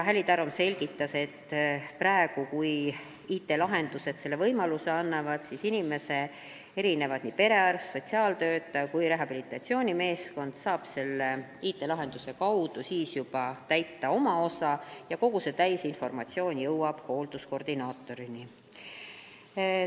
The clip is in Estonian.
Häli Tarum selgitas, et praegu, kui IT-lahendused selle võimaluse annavad, siis inimese perearst, sotsiaaltöötaja ja ka rehabilitatsioonimeeskond saavad IT-lahenduse abil oma osa ära täita ja hoolduskoordinaatori kätte jõuab täisinformatsioon.